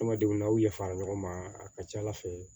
Adamadenw n'aw ya fara ɲɔgɔn ma a ka ca ala fɛ